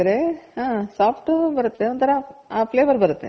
ಹಾ soft ನು ಬರುತ್ತೆ ಒಂತರ ಆ flavour ಬರುತ್ತೆ